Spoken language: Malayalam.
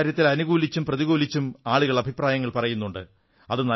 ഈ കാര്യത്തിൽ അനുകൂലിച്ചും പ്രതികൂലിച്ചും ആളുകൾ അഭിപ്രായങ്ങൾ പറയുന്നുണ്ട്